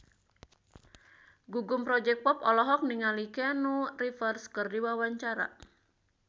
Gugum Project Pop olohok ningali Keanu Reeves keur diwawancara